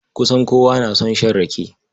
Kusan kowa na son shan rake.